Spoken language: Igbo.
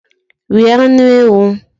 Rie anụ ewu.